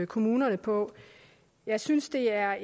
kommunerne på jeg synes det er